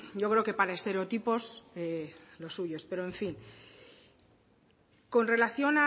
yo creo que para estereotipos los suyos pero en fin con relación